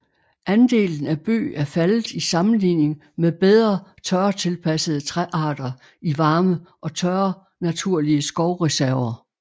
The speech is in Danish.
Andelen af bøg er faldet i sammenligning med bedre tørretilpassede træarter i varme og tørre naturlige skovreserver